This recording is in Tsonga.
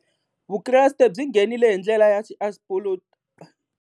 Vukreste byi nghenile hi ndlela ya .